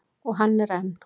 Og hann er enn.